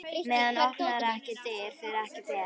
Maður opnar ekki dyr, fer ekki fet.